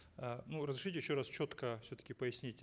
э ну разрешите еще раз четко все таки пояснить